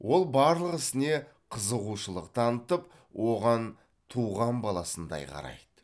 ол барлық ісіне қызығушылық танытып оған туған баласындай қарайды